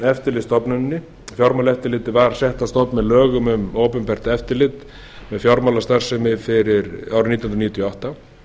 eftirlitsstofnuninni fjármálaeftirlitið var sett á stofn með lögum um opinbert eftirlit með fjármálastarfsemi fyrir árið nítján hundruð níutíu og átta